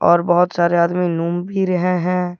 और बहुत सारे आदमी घूम भी रहे हैं।